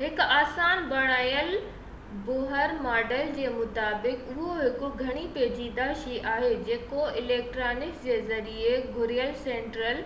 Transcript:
هڪ آسان بڻايل بوهر ماڊل جي مطابق اهو هڪ گهڻي پيچيدہ شئي آهي جيڪو اليڪٽرانڪس جي ذريعي گهيريل سينٽرل